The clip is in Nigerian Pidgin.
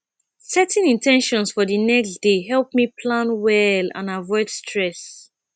setting in ten tions for the next day help me plan well and avoid stress